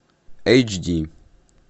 эйч ди